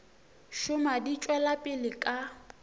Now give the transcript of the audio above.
šoma di tšwela pele ka